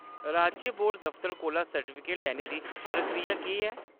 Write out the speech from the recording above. राज्य बोर्ड दफतर कोला सर्टिफिकेट लैने दी प्रक्रिया केह्‌‌ ऐ ?